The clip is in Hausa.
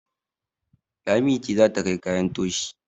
Lami ce za ta kai kayan toshi